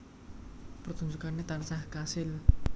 Pertunjukane tansah kasil